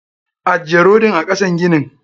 Ajje rodin a kasan ginin.